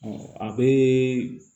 a bɛ